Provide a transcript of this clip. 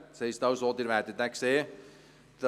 Das heisst, dass Sie diesen sehen werden.